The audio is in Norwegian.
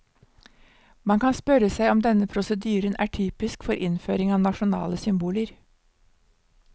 Man kan spørre seg om denne prosedyren er typisk for innføring av nasjonale symboler.